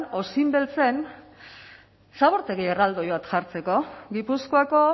osinbeltzen zabortegi erraldoi bat jartzeko gipuzkoako